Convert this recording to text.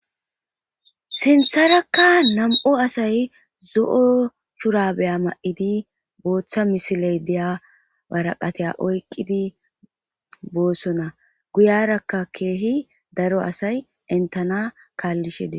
sintharakka nam7o asay zo7o shurabeya ma7idi booththa misiley deya waraqateya oyqqidi boosona guyarakka keehi daro asay entana kaallishede